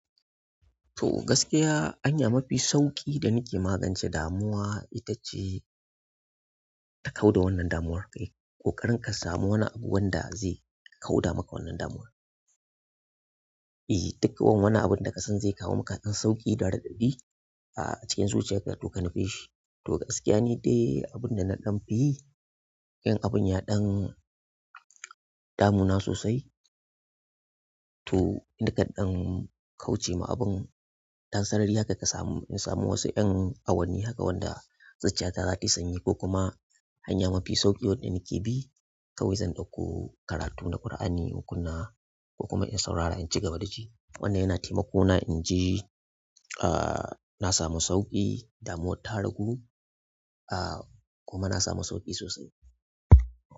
To gaskiya hanya mafi sauƙi da nake magance damuwa ita ce ka kau da wannan damuwar. Kai, ƙoƙarin ka samu wani abu wanda zai kauda maka wannan damuwar. E, duk wani abin da kasan zai kawo maka dan sauƙi da raɗaɗi a cikin zuciyar ka, to ka nufi shi. To gaskiya, ni dai abin da na danfi yi, in abun ya ɗan damuna sosai. To nakan ɗan kauce ma abun, dan sarari haka ka samu, in samu wasu ƴan awanni haka wanda zuciya ta za ta sanyi ko kuma hanya mafi sauƙi wadda nake bi kawai zan ɗauko karatu na Kur'ani, nakunna ko kuma in saurara in ci gaba da ji. Wannan yana taimako na in ji, ah na samu sauƙi, damuwar ta ragu, ah kuma na samu sauƙi sosai.